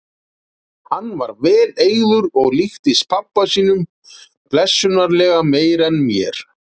Hann var vel eygður og líktist pabba sínum blessunarlega meira en mér.